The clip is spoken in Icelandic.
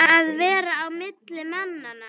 Að vera á milli manna!